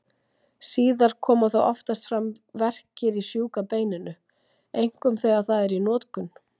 Síðar koma þó oftast fram verkir í sjúka beininu, einkum þegar það er í notkun.